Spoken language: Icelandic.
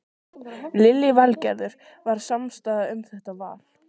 Lillý Valgerður: Var samstaða um þetta val?